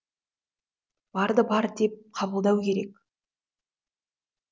барды бар деп қабылдау керек